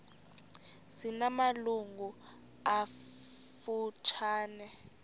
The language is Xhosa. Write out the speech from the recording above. zina malungu amafutshane